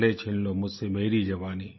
भले छीन लो मुझसे मेरी जवानी